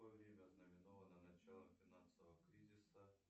какое время ознаменовано началом финансового кризиса